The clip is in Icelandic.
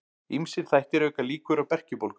Ýmsir þættir auka líkur á berkjubólgu.